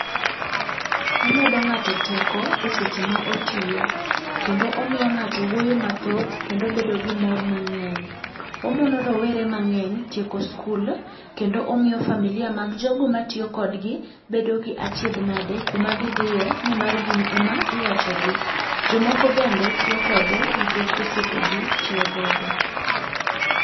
Omedo ng'ato teko eseche ma otiyo. Kendo omiyo ng'ato wuoyo mathoth kendo obedo gi mor mang'eny. Omono rowere mang'eny tieko skul, kendo omiyo familia mag jogo matiyo kodgi bedo gi achiedh nade kuma gidhiye, nimar gin ema iwachogi. Jomoko bende tiyo kode, nikech osiepegi tiyo godo.